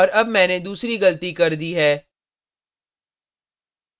और अब मैंने दूसरी गलती कर दी है